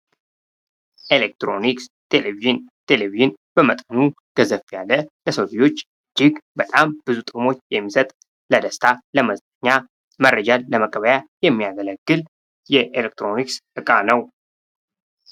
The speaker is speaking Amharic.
ኤሌክትሮኒክስ ቴሌቪዥን። ቴሌቪዥን በመጠኑ ገዘፍ ያለ ለሰው ልጆች እጅግ በጣም ብዙ ጥቅሞች የሚሰጥ ለደስታ፣ ለመዝናኛ፣ መረጃን ለመቀበያ የሚያገለግል የኤሌክትሮኒክስ ዕቃ ነው።